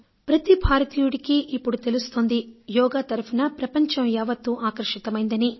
యోగా తరఫున ప్రపంచం యావత్తూ ఆకర్షితమైందని ప్రతి భారతీయుడికీ ఇప్పుడు తెలుస్తోంది